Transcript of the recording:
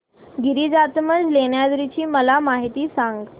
गिरिजात्मज लेण्याद्री ची मला माहिती सांग